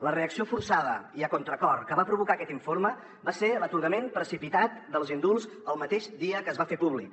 la reacció forçada i a contracor que va provocar aquest informe va ser l’atorgament precipitat dels indults el mateix dia que es va fer públic